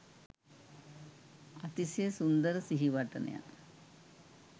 අතිශය සුන්දර සිහිවටනයක්